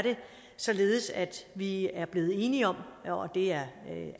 således at vi er blevet enige om og det er